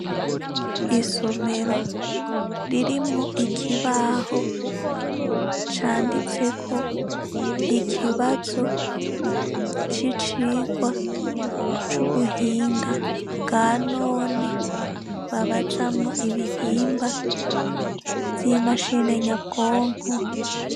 Isomero, ririmwo ikibaho canditseko ikibazo c’icigwa c’ubihinga bwa none babazamwo ibihimba vy’imashine nyabwonko